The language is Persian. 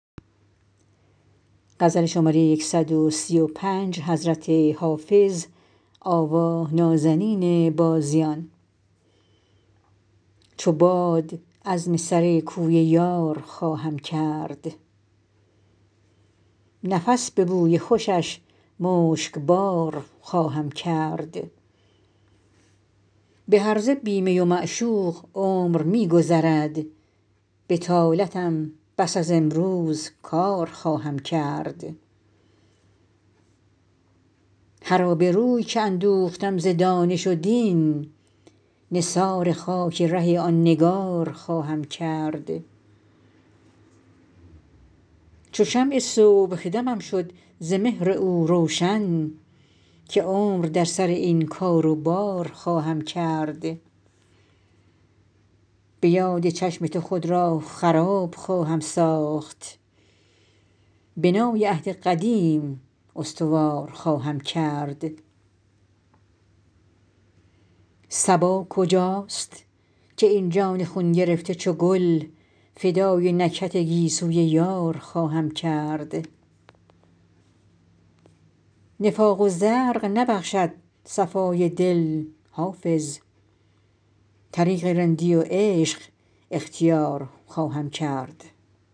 چو باد عزم سر کوی یار خواهم کرد نفس به بوی خوشش مشکبار خواهم کرد به هرزه بی می و معشوق عمر می گذرد بطالتم بس از امروز کار خواهم کرد هر آبروی که اندوختم ز دانش و دین نثار خاک ره آن نگار خواهم کرد چو شمع صبحدمم شد ز مهر او روشن که عمر در سر این کار و بار خواهم کرد به یاد چشم تو خود را خراب خواهم ساخت بنای عهد قدیم استوار خواهم کرد صبا کجاست که این جان خون گرفته چو گل فدای نکهت گیسوی یار خواهم کرد نفاق و زرق نبخشد صفای دل حافظ طریق رندی و عشق اختیار خواهم کرد